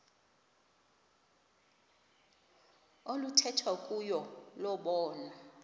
oluthethwa kuyo lobonwa